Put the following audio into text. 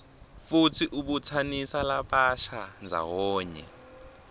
futsi ibutsanisa labasha ndzawonye